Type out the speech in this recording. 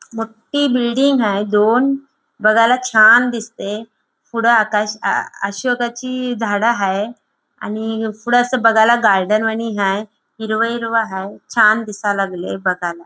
मोठी बिल्डिंग हाय दोन बघायला छान दिसते पुढं आकाश आ अशोकाची झाड हाय आणि पुढं असं बघायला गार्डन वाणी हाय हिरवं हिरवं हाय दिसायला लागलीये बघायला.